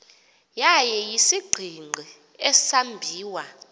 yaye isisigingqi esambiwa